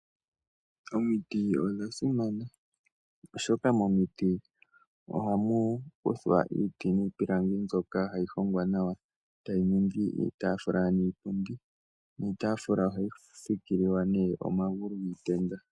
Omiti odha simana oshoka momiti ohamu kuthwa iiti niipilangi mbyoka hayi hongwa nawa ee tayi ningi iitaafula niipundi. Iitaafula ohayi fikililwa nee omagulu giitenda.